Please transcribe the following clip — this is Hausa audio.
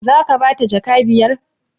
Zaka bata jaka biyar?